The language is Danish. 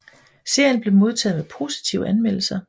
Serien blev modtaget med positive anmeldelser